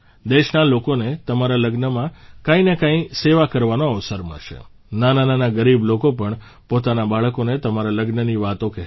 દેશના લોકોને તમારા લગ્નમાં કંઇને કંઇ સેવા કરવાનો અવસર મળશે નાનાનાના ગરીબ લોકો પણ પોતાના બાળકોને તમારા લગ્નની વાતો કહેશે